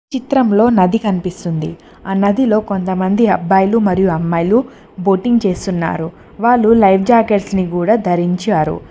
చిత్రంలో నది కనిపిస్తుంది ఆ నదిలో కొంతమంది అబ్బాయిలు మరియు అమ్మాయిలు బోటింగ్ చేస్తున్నారు వాళ్ళు లైవ్ జాకెట్స్ ని కూడా ధరించారు.